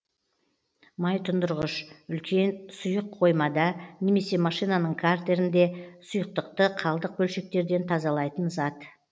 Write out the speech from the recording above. майтұндырғыш үлкен сүйық қоймада немесе машинаның картерінде сұйықтықты қалдық бөлшектерден тазалайтын зат